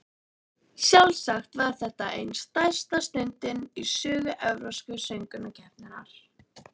Sjálfsagt var þetta ein stærsta stundin í sögu Evrópsku söngvakeppninnar.